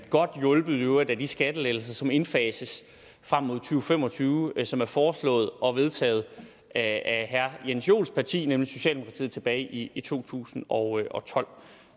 godt hjulpet i øvrigt af de skattelettelser som indfases frem mod to fem og tyve og som er foreslået og vedtaget af herre jens joels parti nemlig socialdemokratiet tilbage i i to tusind og tolv